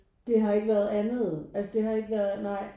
Det har ikke været andet altså det har ikke været nej